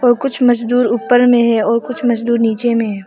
और कुछ मजदूर ऊपर में है और कुछ मजदूर नीचे में--